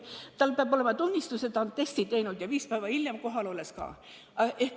–, peab tal olema tunnistus, et ta on testi teinud, ja viis päeva hiljem kohal olles samuti.